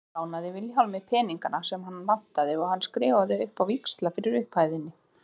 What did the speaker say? Sævar lánaði Vilhjálmi peningana sem hann vantaði og hann skrifaði upp á víxla fyrir upphæðinni.